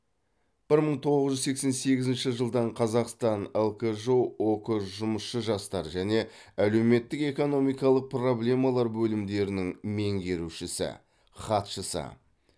бір мың тоғыз жүз сексен сегізінші жылдан қазақстан лкжо ок жұмысшы жастар және әлеуметтік экономикалық проблемалар бөлімдерінің меңгерушісі хатшысы